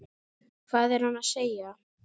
Hvað er hann að segja?